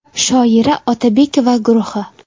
Shoira Otabekova guruhi.